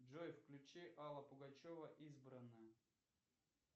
джой включи алла пугачева избранное